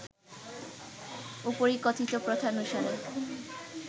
উপরিকথিত প্রথানুসারে